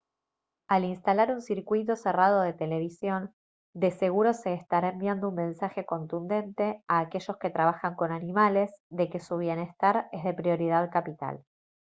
«al instalar un circuito cerrado de televisión de seguro se estará enviando un mensaje contundente a aquellos que trabajan con animales de que su bienestar es de prioridad capital»